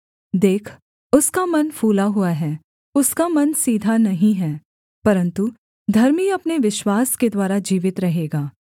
देख उसका मन फूला हुआ है उसका मन सीधा नहीं है परन्तु धर्मी अपने विश्वास के द्वारा जीवित रहेगा